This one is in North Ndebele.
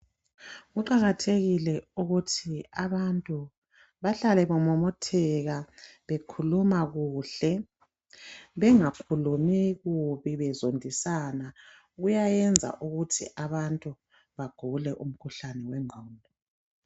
Kuqakathekile ukuthi abantu bahlale bemomotheka bekhuluma kuhle bengakhulumi kubi bezondisana kuyayenza ukuthi abantu bagule umkhuhlane wengqondo.